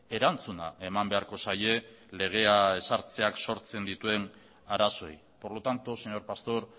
erantzuna eman beharko zaie legea ezartzeak sortzen dituen arazoei por lo tanto señor pastor